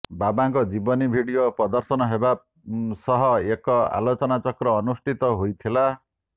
ବାବାଙ୍କ ଜୀବନୀ ଭିଡିଓ ପ୍ରଦର୍ଶନ ହେବା ସହ ଏକ ଆଲୋଚନାଚକ୍ର ଅନୁଷ୍ଠିତ ହୋଇଥିଲା